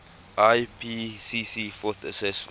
ipcc fourth assessment